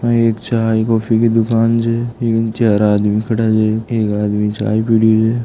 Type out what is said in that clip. एक चाय कॉफी की दुकान छे में चार आदमी खड़ा है एक आदमी चाय पी लिया--